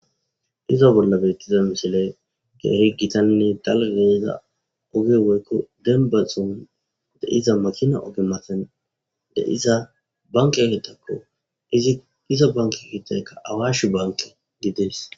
iza bolla beyttiza mishile keehi gitanne dalgeeza oge woykko denbaxon de iza macina oge maten de iza banke ehetakko ziiza banke hitaykka awashi banke gidees